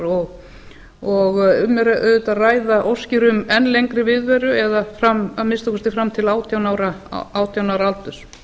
og auðvitað er um að ræða óskir um enn lengri viðveru eða að minnsta kosti til átján ára aldurs